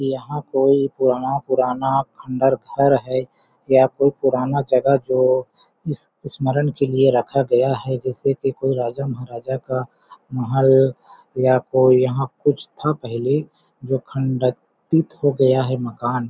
यहाँ कोई पुराना पुराना खंडर घर है या कोई पुराना जगह जो इस स्मरण के लिए रखा गया है जैसे कि कोई राजा महाराजा का महल या कोई यहाँ कुछ था पहले जो खंडित हो गया है मकान --